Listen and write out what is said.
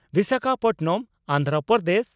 Visakhapatnam,. Andhra Pradesh.